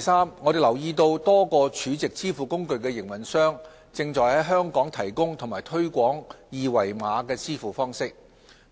三我們留意到多個儲值支付工具營運商正在香港提供和推廣二維碼支付方式，